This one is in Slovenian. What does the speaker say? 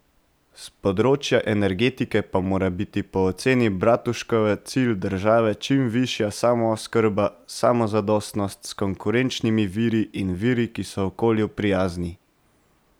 S področja energetike pa mora biti po oceni Bratuškove cilj države čim višja samooskrba, samozadostnost, s konkurenčnimi viri in viri, ki so okolju prijazni.